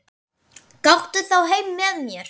Gakktu þá heim með mér.